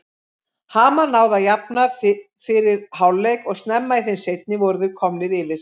Hamar náði að jafna fyrir hálfleik og snemma í þeim seinni voru þeir komnir yfir.